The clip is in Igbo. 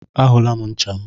A hụla m ncha m.